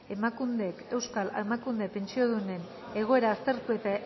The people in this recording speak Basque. emakundek euskal emakume pentsiodunen egoera aztertu eta